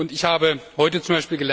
Ich habe heute z.